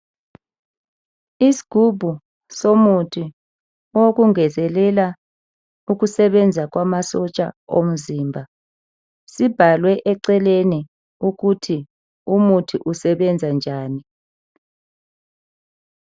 Isigubhu somuthi owokungezelela ukusebenza kwamasotsha omzimba sibhalwe eceleni ukuthi umuthi usebenza njani.